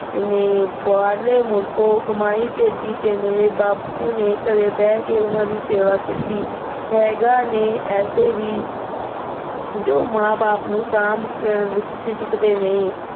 ਨੇ ਬਾਹਰੋਂ ਮੁਲਕੋ ਕਮਾਈ ਭੇਜੀ ਤੇ ਮੇਰੇ ਬਾਪੂ ਦੇ ਘਰੇ ਬੈਠ ਕੇ ਉਹਨਾਂ ਦੀ ਸੇਵਾ ਕੀਤੀ। ਹੈਗੇ ਨੇ ਐਸੇ ਵੀ, ਜੋ ਮਾਂ-ਬਾਪ ਨੂੰ ਸਾਂਭਣ ਵਿੱਚ ਝਿਜਕਦੇ ਨਹੀਂ।